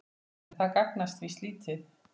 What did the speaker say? En það gagnast víst lítið.